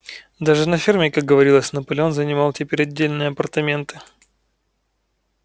даже на ферме как говорилось наполеон занимал теперь отдельные апартаменты